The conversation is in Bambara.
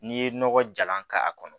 N'i ye nɔgɔ jalan k'a kɔnɔ